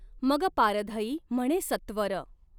मग पारधई म्हणे सत्वर।